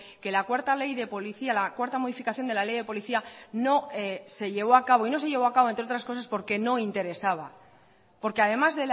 que la cuarta ley de policía la cuarta modificación de la ley de policía no se llevó a cabo y no se llevó a cabo entre otras cosas porque no interesaba porque además